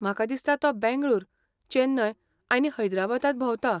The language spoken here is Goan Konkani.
म्हाका दिसता तो बेंगळूर, चेन्नय आनी हैदराबादांत भोंवता.